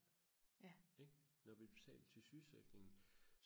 ikke når vi betaler til sygesikring